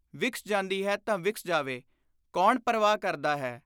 ਵਿਕਸ ਜਾਂਦੀ ਹੈ ਤਾਂ ਵਿਕਸ ਜਾਵੇ ! ਕੌਣ ਪਰਵਾਹ ਕਰਦਾ ਹੈ !!